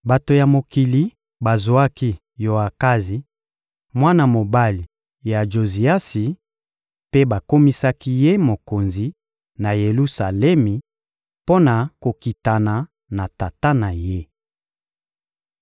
Bato ya mokili bazwaki Yoakazi, mwana mobali ya Joziasi, mpe bakomisaki ye mokonzi, na Yelusalemi, mpo na kokitana na tata na ye. (2Ba 23.31-34)